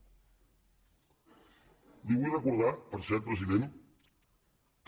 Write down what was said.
li vull recordar per cert president que